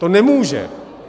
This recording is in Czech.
To nemůžou.